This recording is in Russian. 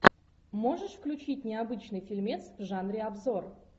можешь включить необычный фильмец в жанре обзор